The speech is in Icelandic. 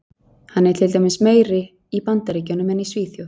Hann er til dæmis meiri í Bandaríkjunum en í Svíþjóð.